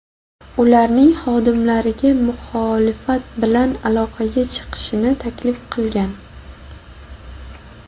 ularning xodimlariga muxolifat bilan aloqaga chiqishni taklif qilgan.